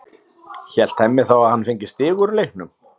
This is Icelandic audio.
Hélt Hemmi þá að hann fengi stig úr leiknum?